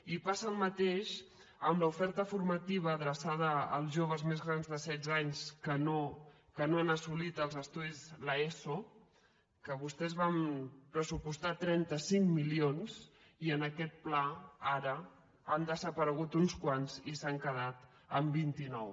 i passa el mateix amb l’oferta formativa adreçada als joves més grans de setze anys que no han assolit l’eso que vostès van pressupostar trenta cinc milions i en aquest pla ara n’han desaparegut uns quants i s’han quedat en vint nou